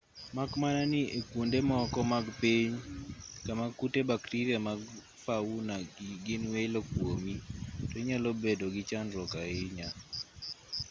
mak mana ni e kuonde moko mag piny kama kute bakteria mag fauna gin welo kuomi to inyalo bedo gi chandruok ahinya